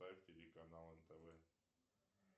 телеканал нтв